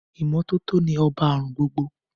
Ìmọ́tótó ni ọba àrùn gbogbo